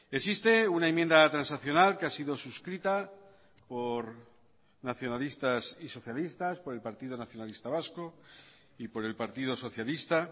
existe una enmienda transaccional que ha sido suscrita por nacionalistas y socialistas por el partido nacionalista vasco y por el partido socialista